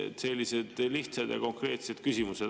Nii et sellised lihtsad ja konkreetsed küsimused.